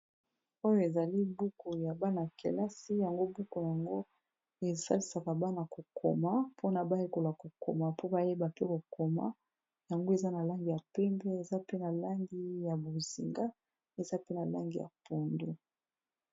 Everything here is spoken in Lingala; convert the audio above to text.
Oyo ezali buku ya bana kelasi yango buku yango esalisaka bana ko koma mpona bayekola kokoma mpo bayeba pe kokoma yango eza na langi ya pembe eza pe na langi ya bozinga eza pe na langi ya pondu.